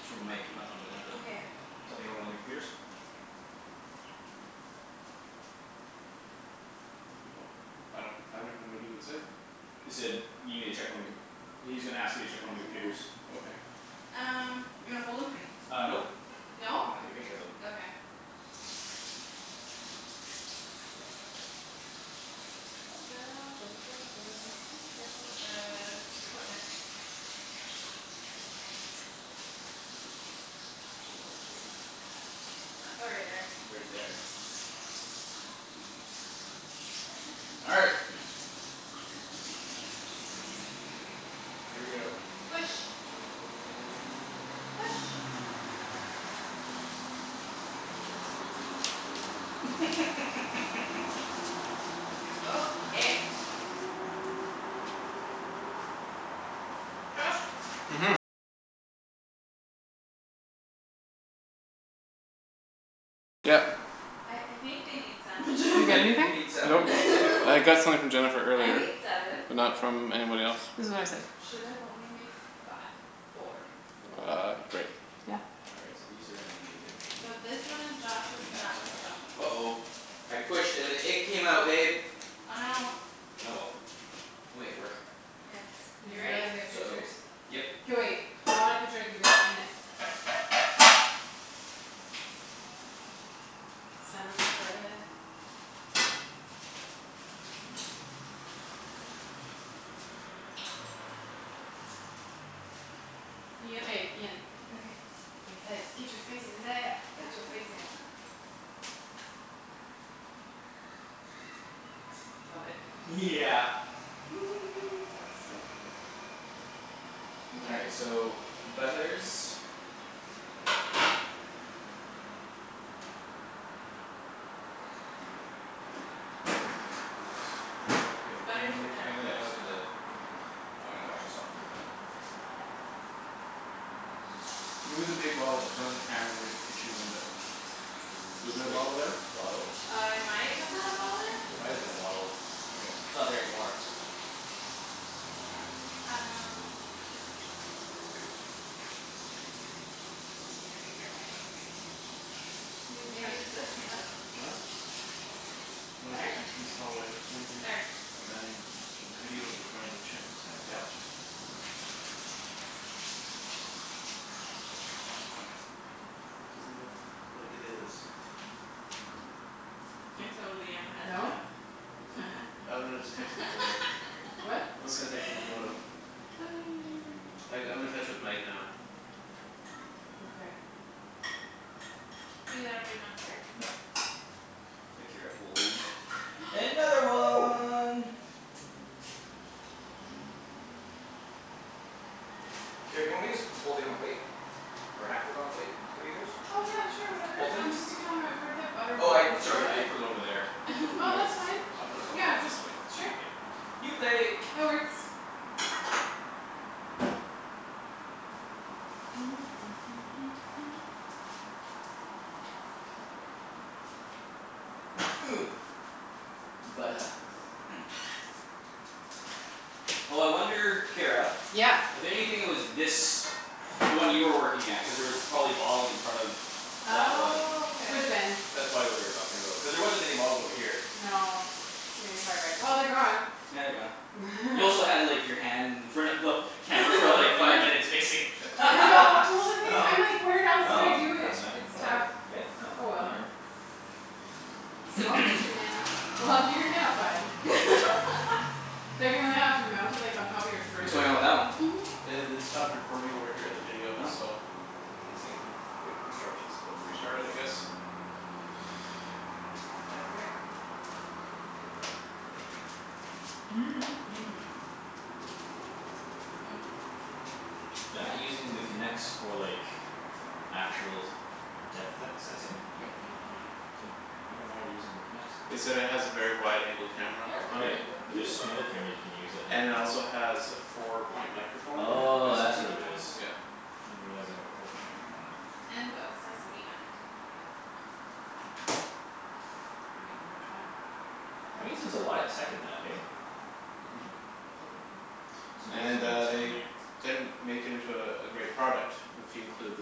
It's from Mike not from Jennifer. Okay. Something about one of the computers? Well I don't have anything what does it say? He said need me to check one of the com- well he's gonna ask you to Oh it's check one right of the there. computers. Okay. Um, you wanna fold 'em? Uh nope No? I wanna take a picture of them. Okay. Careful with the equipment. Oh right there. Right there. All right. Here we go. Push. Push. Okay. Josh. I I think they need sandwiches You I get think anything? they need Nope, sandwiches too I got something from Jennifer I earlier made seven. but not from anybody else. This is what I said. Should've only made five four. Four Uh great. Yeah. All right so these are gonna be a bit tricky. And So this one is that's Josh's and that one's Josh. Josh's. Uh oh I pushed and the egg came out babe Oh no. Oh well, we'll make it work. Yes, Did you you ready? guys get So pictures? Yep K wait, I want a picture of you guys in it. Sandwich spread. K, Ian. Okay. And Ped. Get your face in there. Go go Get your face go go. in. Love it. Yeah That's so cool. All Mkay. right so butlers Okay Butter's right there. I got Yeah I just that need the now. oh I'm gonna wash this off with your "Can you move the big bottle in front of the camera near the kitchen window?" Was The there a big bottle there? bottle? Uh I might have had a bottle there. There might've been a bottle. Okay. It's not there anymore. All right. Um. New Maybe it's text. this? I dunno. No? "One at Better? the entrance hallway pointing" There. "Dining so the video is running. Check the timer." Yeah I'll check. Doesn't look like it is. I totally am a head No? chef. I'm gonna just text him a photo. What? I'm just gonna text him a photo. I g- I'm in touch with Mike now. Okay. Ian there'll be enough butter? Nope The Kara pulled another one. Kara, do you want me just put Okay. this whole thing on a plate? Or half of i- on a plate for you guys? Oh yeah sure whatever. Whole thing? Um just stick it on my where that butter Oh I went. Is it sorry I running? put it over there. I Oh that's fine, I'll put it I'll put it on another plate. just sure New plate. New plate That works. Oh I wonder Kara. Yeah. I bet you anything it was this The one you were working at cuz there was probably bottles in front of That one Oh K. Coulda been. That's probably what they were talking about cuz there wasn't any bottles over here. No yeah you're probably right. Well they're gone. Yeah they're gone. You also had like your hand in front of the Camera for like I five know. minutes mixing. I know well No the thing no I'm like where else do I do that's it? fine It's whatever tough. yeah no Oh well. whatever. Small kitchen, man. Well, you're gonna have fun. They're gonna have to mount it like on top of your What's fridge or going on with something. that one? Mhm. Yeah they'd stopped recording over here, the video Oh so. They say uh wait instructions to restart it I guess. Okay. They're not using the Kinects for like Actual depth se- sensing? Nope. Mhm. I wonder why Damn they're it. using the Kinects They then? said it That has a works. very wide angle camera Oh it's on a Right it. one but there's so many other cameras you can use that have And it it Oh also has a four Well, point microphone we'll in Oh there make is the that's the what other it is. half of thing. it. Yeah. Didn't realize they had a four point microphone in it. And put a slice of meat on it. Yeah. I mean, which one? I'll That hold your means there's a marker. lot of tech in that This eh? one. Mhm. It's And amazing amount uh of tech in they there. didn't make it into uh a great product if you include the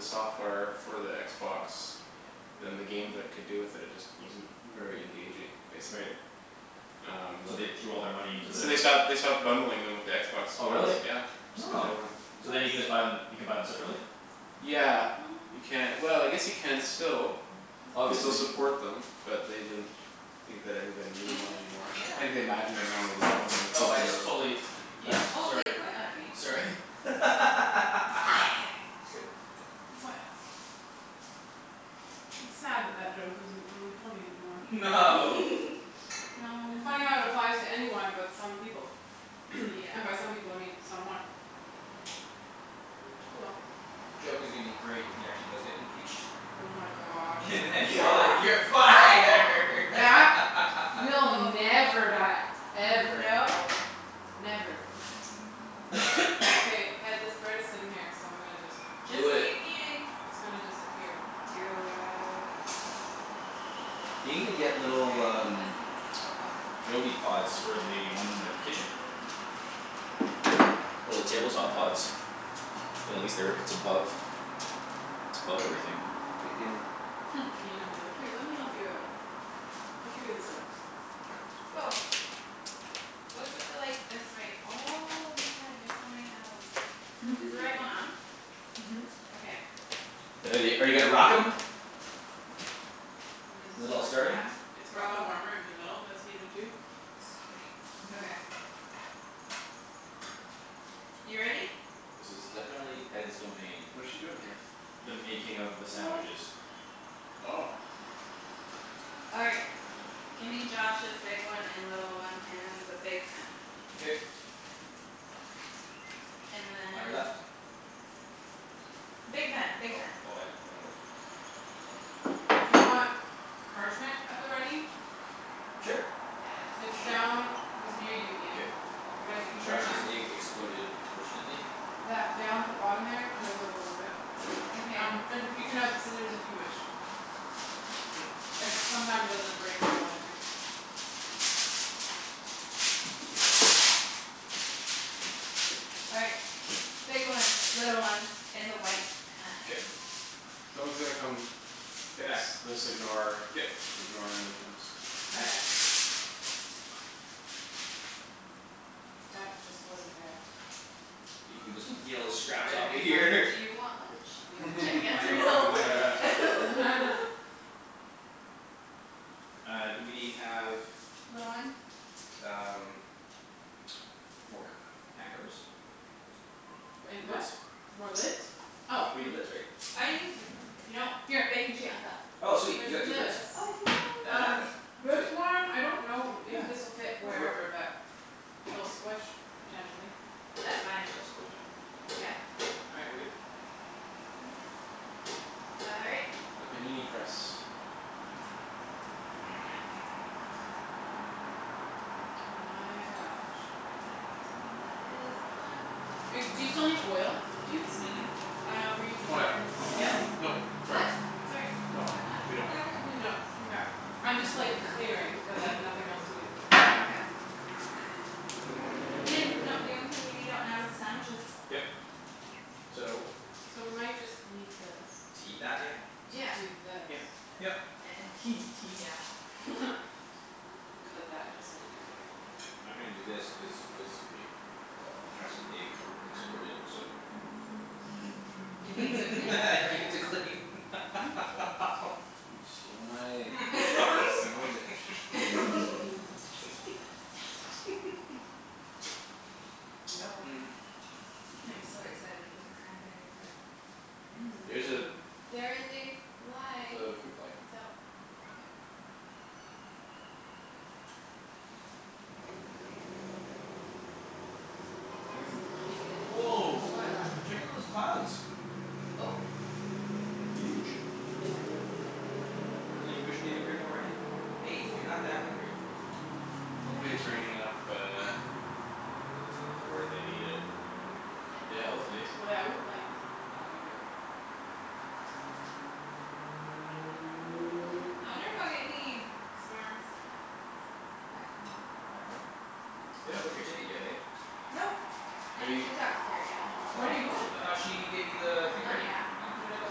software for the Xbox. Yep. Then the games that could do with it it just wasn't very engaging, basically Right Um no So the they threw all their money in there. So they stopped they Okay. stopped bundling them with the Xbox Oh really Ones, yeah. Just cuz Oh they weren't so then you can Oops. just buy them you can buy them separately? Yeah you ca- well I guess you can still. They still Obviously. support them but they didn't Think that everybody needed Ian one just anymore. quit on Think they me. imagined everyone would love 'em Oh I including just the totally You left totally sorry quit on me. sorry You're fired. You're fired. It's sad that that joke isn't really funny anymore. No. No It funny how it applies to anyone but some people. Yeah. And by some people I mean someone. Oh well. The joke is gonna be great if he actually does get impeached Oh my gosh. And then you're like, You're "You're fired" fired. That will never die. Ever. no. Never. Okay, Ped, this bread is sitting here so I'm gonna just Just just Do it keep eating. It's gonna disappear. Do it. They need to get little I um think this needs to go up a little Joby pods for the bit ones in the kitchen. higher. Little table top pods. Then at least they're it's above it's above everything. Mhm. Ian'll be like, "Here, let me help you out." We'll figure this out. Woah. What's with the like this wait oh my god you have so many handles. Is the right one on? Mhm. Okay, I'm Uh are gonna you turn are you that gonna up a rock little 'em? bit. Because Is it's it a all larger starting? pan. It's got the Oh warmer in the okay. middle that's heated too. Sweet, Mhm. okay. You ready? This is definitely Ped's domain. What is she doing here? The making of the sandwiches. Oh. All right, gimme Josh's big one and little one and the big pan. K And then On your left Big pan, big Oh pan. oh I didn't know which one was the big pan. Do you want parchment at the ready? Sure It's Shoot Yes. down It's near you K. Ian, right if you turn Josh's around. egg exploded unfortunately. That down at the bottom there, there's On? a roll of it. Okay. Um and you can have scissors if you wish. It sometimes doesn't break where you want it to. Mkay. All right. Big one, little one in the white K pan. Someone's gonna come fix this ignore K ignore him when he comes. K. Okay. That just wasn't there. You can just eat all the scraps Write off a of big here sign: "Do you want lunch?" Should Yep. I guess On or your no? on on your left Uh do we have Little one? um More c- pan covers? And a what? Lids? More lids? Oh We need lids right? Oh you can just like if you don't. Here. Baking sheet on top. Oh sweet There's you got two lids this. Oh yes. And that Um one, this sweet one I don't know if Yeah this'll fit that'll work wherever but It'll squish potentially. That's fine. That's totally fine. Yeah? Yeah. All right, we're good. All right. The panini press. And now we wait. My gosh. Um that is on. Do you still need oil, That's dudes? Mm- mm. four. Oh no we're using Oh yeah. butter. Yes? Nope, sorry. What? Sorry No, what's going on? we don't I'm confused. No mkay I'm I just like know. clearing cuz I Mhm have nothing else to do. Okay. Yeah. Ian no the only thing we need out now is the sandwiches. Yep so So we might just need this To eat that? Oh Yeah. To do yes. this. Yeah. Yep. yeah Cuz that just needed to happen. I'm gonna do this cuz realistically Josh's egg exploded so It needs a cleanup right? needs a clean You stole my egg you son of a bitch. Yep. I'm so excited for the cranberry bread. There's a There is a fly. it's a fruit fly. It's out. Yeah. This is when I get impatient. Woah What? What? check out those clouds Oh. They're huge. They are. I really wish they would bring more rain. Hey you're not that hungry. It's Hopefully Chinese it's fruit. raining up uh Up where they need it. Yeah. Yeah hopefully. Without lightning would be good. I'll get any storms Back home. Back home? I hope You so. haven't booked your ticket yet hey? Nope, Are I need you to talk to Kerrianne. When are you going? I thought she gave you the thing Not already? yet. Oh Gonna go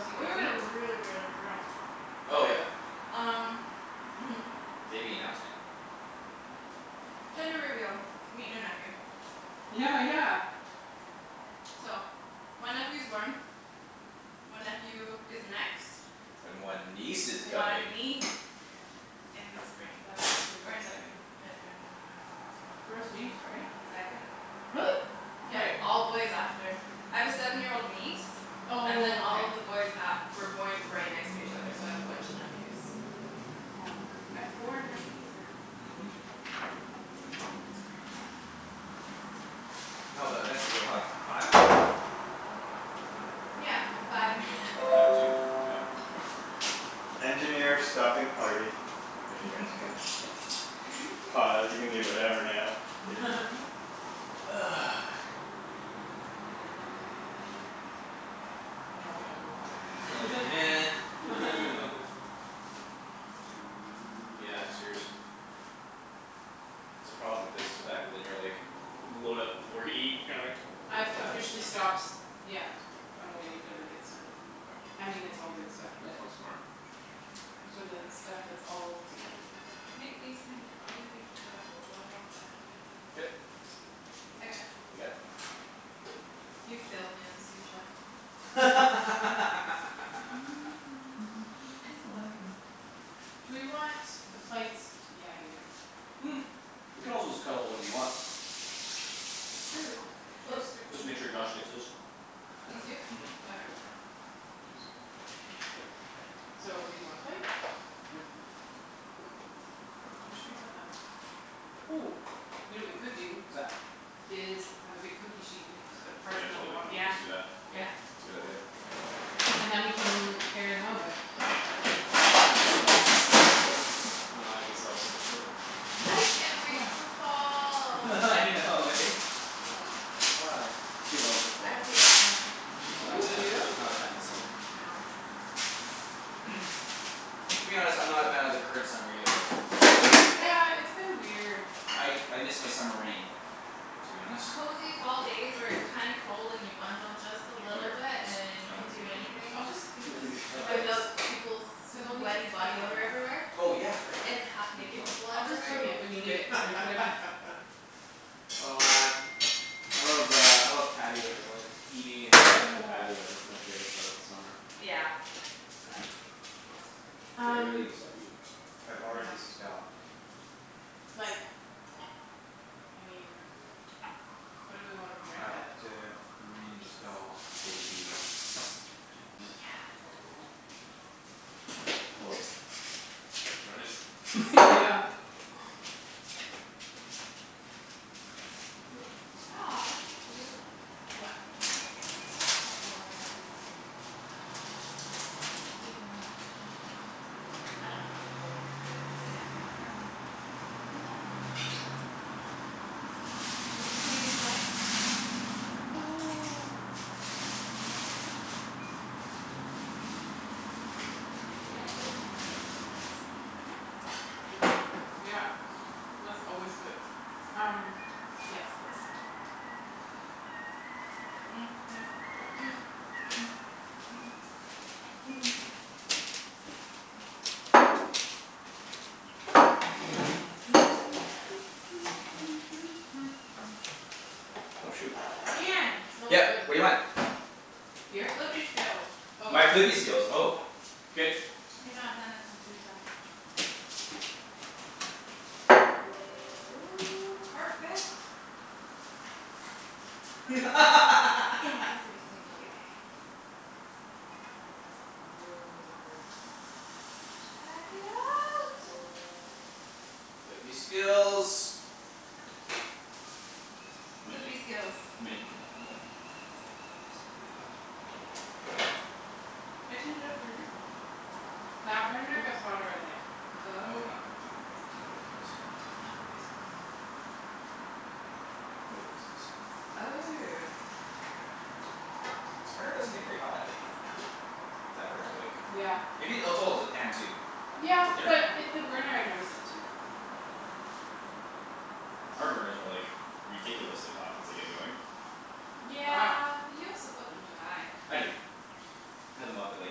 see We baby? were really really drunk. Oh yeah Um mhm. Baby announcement Gender reveal. Meet new nephew. Yeah yeah. So, one nephew's born. One nephew is next. And one niece is coming One niece in the spring. That is Or in the exciting. mid-winter. First niece right? Second. Really? Yeah, Wait. all boys after. I have a seven year old niece Oh And then all okay. of the boys a- were born right next to each other so I have a bunch of nephews. I have four nephews now. Mhm. That's crazy. That's a lot. No but eventually you'll have five. Yeah, five and two right? Five I and two. Yeah can't do math. Now we all go quiet. We're like nah Aw food. Yeah seriously. That's the problem with this it's the fact that then you're like load up before you eat I've officially stops. Yeah, I'm waiting for the good stuff. I mean it's all good stuff That's but so smart. For the stuff that's all together. I think these can probably be turned up a little bit. K I got it. You got it? You failed me as a sous chef. I'm taking over. I still love you though. Do we want the plates yeah here. We could also just cut a whole bunch of 'em up. True, should I stick 'em Just make sure Josh gets his. These two? Mhm Okay. So leave one plate? Yeah. Yeah Where should we put them? Ooh, you know what we could do What's that? Is I have a big cookie sheet and we can just put Yeah parchment on the totally. bottom. Let's Yeah, just do that. yeah. K. It's a good idea. And then we can mo- carry them over. Oh so nice. Here we go. It's And I guess I'll set the table. I can't wait Yeah. for fall. I know eh? Why? She loves the fall I hate summer. She's Oh not a You fan do? of she's man. not a fan of the summer. No. To be honest I'm not a fan of the current summer either though. Like. Yeah, it's been weird. I I miss my summer rain to be honest. Cozy fall days where it's kinda cold and you bundle just a Over little here bit and just you I don't can think do we need any of this anything. I'll right just here leave this No and I then don't think just Without peoples' Cuz we'll need sweaty to cut body on odor that. everywhere. Oh yeah right And half Good naked point. people I'll just So everywhere. bring it when you need K it and K put it back. Oh man I love uh I love patios like eating and drinking on patios. That's my favorite part about summer. Yeah. That's K that's great. I really Um gotta stop eating. I know. Like I mean What do we wanna drink out of? These. Yes. Oops. Tryin' to just Mhm. Yeah. Aw it's cute. What? Like a cute old couple over there. Eating lunch. I don't know if they're old. I like just Where can't are they? see far. In that building. With the Canadian flag? Oh They have clothes on, so that's coolness. Yeah, that's always good. Um. Yes, this. Oh shoot Ian. Smells Yeah good. what do you want? Your Here? flippy skills. Oh. My flippy skills oh K You're not done as my sous chef. Oh perfect. I am perfect. In every single way. Woah. Check it out. Flippy skills You might Flippy need you skills. might need to turn that one down. It's getting pretty hot I turned it up for a reason. That burner gets hotter I think. Oh Oh okay. not like not nope no flippy skills. No flippy skills. Check that one. No flippy skills. Oh. This burner doesn't get very hot. That burner's like Yeah. Maybe oh it's oh it's the pan too. Yeah It's a thinner but pan. it the burner I notice it too. Our burners are like ridiculously hot once they get going. Wow. Yeah. You also put them too high. I do. I had them up at like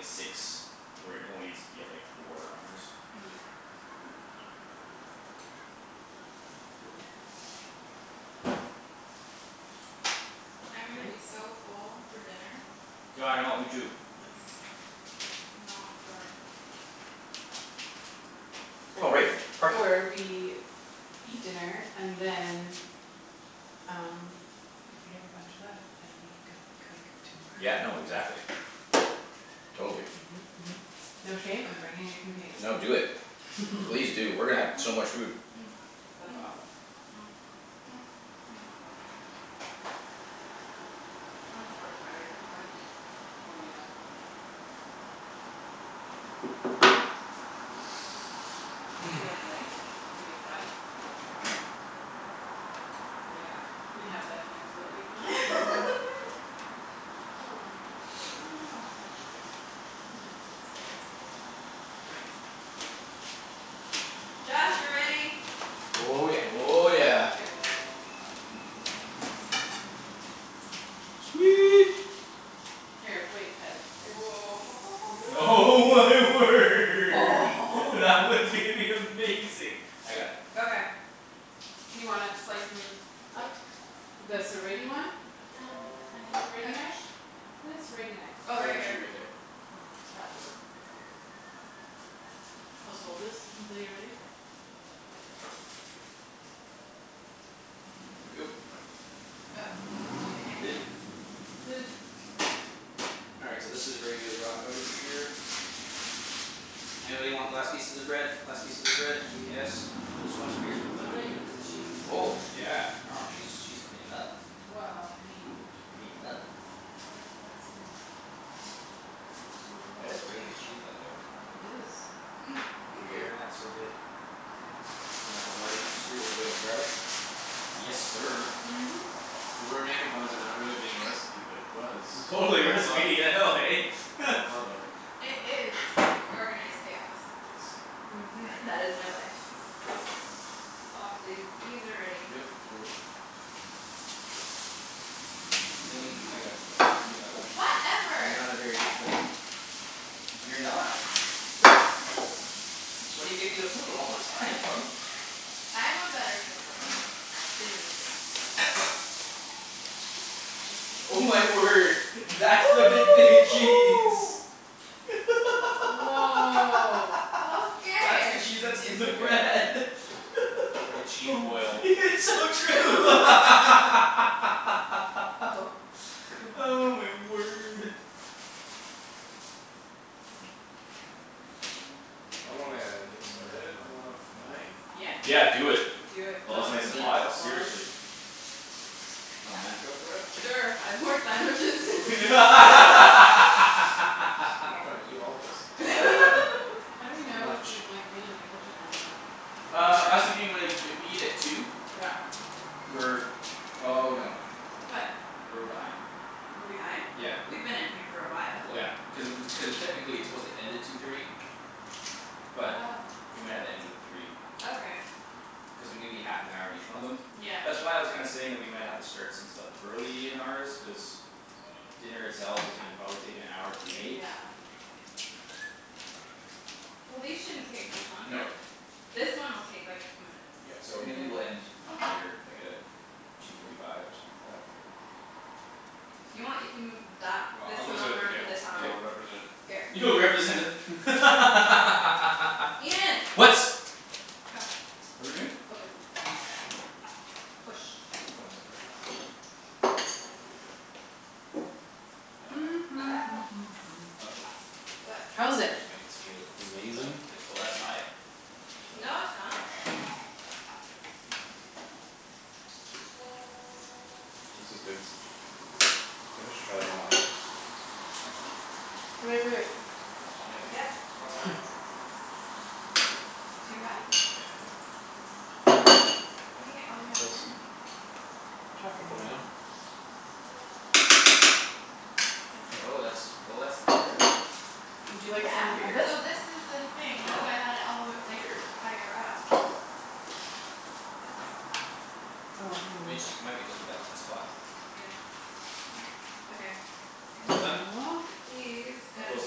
six where it only needs to be four on ours. Yeah. Cool. I'm gonna be Nice. so full for dinner. Yeah I know me too. Yes, you know for uh Oh Or right, parking. or we Eat dinner and then Um if we have a bunch left then we don't cook Yeah tomorrow. no exactly. Totally. Mhm mhm mhm. No shame, I'm bringing a container. No do it please do we're gonna have so much food. That's awesome. I'm so excited for dunch Oh yeah. Would you like light? We can make light happen. Yeah, we have that capability now. Aw, that's a Oh shame. no. Josh, you're ready. Oh yeah. Oh yeah. Here. Sweet. Sweet. Here, wait, Ped, here. Oh my word that one's gonna be amazing. I got it. Okay You wanna slice 'em Yeah up? The I'm gonna serrate-y turn one? it down a tiny serrate-y knife? touch. Where's the serrate-y knife? I Oh right got here. two right there. That will work probably good. I'll just hold this until you're ready. Here we go. Oh. Lid. Lid All right so this is where you rock outta here. Anybody want last pieces of bread? Last pieces of bread? Yeah Yes? This one? I guess we can put I'm that gonna one in eat there. this cheese. Oh yeah. I know she's she's cleanin' up Well I mean Cleanin' up. It's like blasphemy. You have to do That is it. a really good cheese blend though. It is. Think Thank you gruyere in that's so good. There And the havarti comes through with a bit of garlic. Yes sir. Mhm And we're making fun of it not being a recipe but it was. We Totally a all thought recipe I know eh? Well thought of. Um it is organized chaos. Yes. Mhm All right. That is my life. Aw th- these are ready. Yep, totally. Lemme I got it you're not You're Whatever. not a very good flipper. You're not. That's why you get me to flip 'em all the time, love. I am a better flipper Than you think. Oh my word. That's the big thing of cheese. Woah That's the Okay cheese that's in It's the like a bread. It's like a cheese Boom boil. It's so true Oh Oh god. my word. So I'm There gonna get started on one of my Yeah Yeah do it. Do it. While Go. it's nice Does and Eat. anyone hot, else wanna? seriously. Oh man. Go for it? There are five more sandwiches. I dunno if I can eat all of this. How do we how do we It's too know if much we've like been in the kitchen long enough? Uh I was thinking more like if we eat at two Yeah We're oh no What? We're behind. We're behind? Yeah. We've been in here for a while. Well yeah. Cuz cuz uh technically it's supposed to end at two thirty. But Oh we might have to end it at three. Okay Cuz we need to be half an hour in each one of them. Yeah That's why I was kinda saying that we might have to start some stuff early in ours cuz Dinner itself is probably gonna take an hour to make. Yeah Well these shouldn't take much No. longer. This one will take like two minutes. Yeah so And maybe then we'll end later like at uh two forty five or something like that. If you want you can move that Well this I'll go one sit at over the and put table this on and I'll K. represent Here You'll represent the Ian What? Come. What're we doing? Open. Push One second. Uh Uh oh. What? That How is it? actually might s- feel like it's done. Amazing. Oh that's high. No it's not This is good. Feel I should try them all eh? Wai- wai- wait Yeah babe, Yep it's high. Too high? Yeah. Putting it all the way What's on this? min. Truffle Truffle mayo mayo? Oh Okay that's oh that's there. Would you like Yeah some of Weird this? so this is the thing that's Sure why I had it all the w- Oh like weird. higher up That's good. Oh hang on I mean one it just it second. might be just be that one spot Yeah Okay I think Almost done? These All gotta close be to